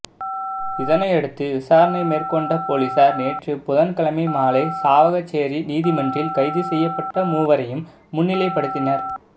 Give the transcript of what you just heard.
இதனையடுத்து விசாரணை மேற்கொண்ட பொலிஸார் நேற்று புதன்கிழமை மாலை சாவகச்சேரி நீதிமன்றில் கைது செய்யப்பட்ட மூவரையும் முன்னிலைப்படுத்தினர்